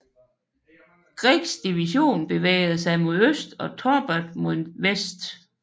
Greggs division bevægede sig mod øst og Torbert mod vest